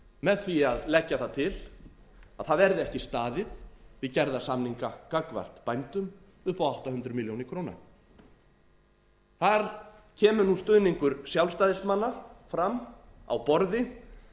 með á að leggja það til að það verði ekki staðið við gerða samninga gagnvart bændum upp á átta hundruð milljóna króna þar kemur nú stuðningur sjálfstæðismanna fram á borði